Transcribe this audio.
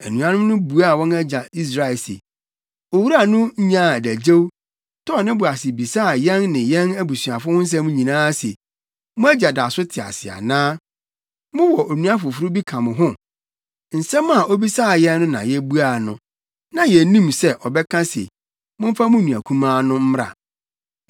Anuanom no buaa wɔn agya Israel se, “Owura no nyaa adagyew, tɔɔ ne bo ase bisaa yɛn ne yɛn abusuafo ho nsɛm nyinaa se, ‘Mo agya da so te ase ana? Mowɔ onua foforo bi ka mo ho?’ Nsɛm a obisaa yɛn no na yebuaa no. Na yennim sɛ ɔbɛka se, ‘Momfa mo nua kumaa no mmra.’ ”